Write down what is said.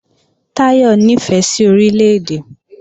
Táyọ̀ ní ìfẹ́ sí Orílè-èdè